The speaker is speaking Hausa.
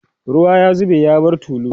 ruwa ya zube ya bar tulu